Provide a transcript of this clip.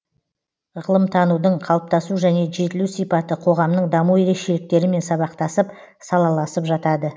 ғылымтанудың қалыптасу және жетілу сипаты қоғамның даму ерекшеліктерімен сабақтасып салаласып жатады